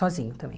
Sozinho também.